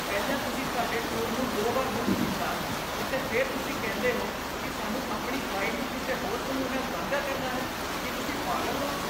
ਪਹਿਲਾਂ, ਤੁਸੀਂ ਸਾਡੇ ਟੂਰ ਨੂੰ ਦੋ ਵਾਰ ਬੁੱਕ ਕੀਤਾ ਅਤੇ ਫਿਰ ਤੁਸੀਂ ਕਹਿੰਦੇ ਹੋ ਕਿ ਸਾਨੂੰ ਆਪਣੀ ਗਾਈਡ ਨੂੰ ਕਿਸੇ ਹੋਰ ਸਮੂਹ ਨਾਲ ਸਾਂਝਾ ਕਰਨਾ ਹੈ। ਕੀ ਤੁਸੀਂ ਪਾਗਲ ਹੋ?